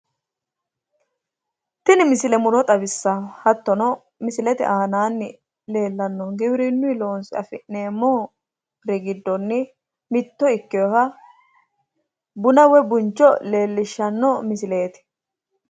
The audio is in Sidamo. tini misile muro xawissanno hattono giwirinuyi loonse afi'neemmoha mitto ikkinoha buna woyi buncho leellishsganno misileeti.